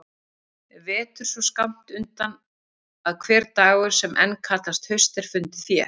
Vetur svo skammt undan að hver dagur sem enn kallast haust er fundið fé.